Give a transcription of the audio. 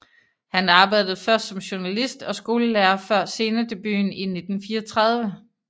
Han arbejdede først som journalist og skolelærer før scenedebuten i 1934